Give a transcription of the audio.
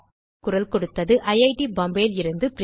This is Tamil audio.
குரல்கொடுத்தது ஐட் பாம்பே லிருந்து பிரியா